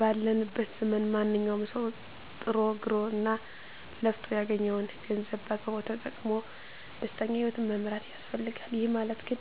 ባለንበት ዘመን ማንኛዉም ሰዉ ጥሮ ግሮእና ለፍቶ ያገኘዉን ገንዘብ በአግባቡ ተጠቅሞ ደስተኛ ህይወትን መምራት ይፈልጋል ይህ ማለት ግን